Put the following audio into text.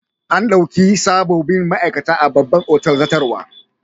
An dauki sabobbin ma'aikata a babban otal zartarwa.